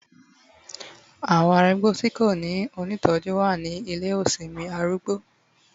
Awon arugbo ti ko ni onitoju wa ni Ile osinmi arugbo